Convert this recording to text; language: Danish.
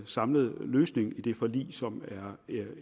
samlet løsning i det forlig som er